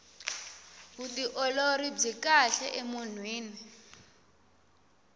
vutiolori byi kahle emunhwini